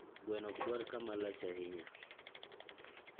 Gweno ok dwar kama lach ahinya.